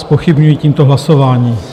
Zpochybňuji tímto hlasování.